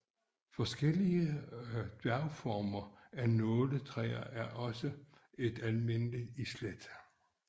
Forskellige dværgformer af Nåletræer er også et almindeligt islæt